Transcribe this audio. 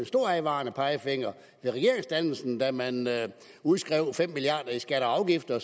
stor advarende pegefinger ved regeringsdannelsen da man udskrev fem milliard i skatter og afgifter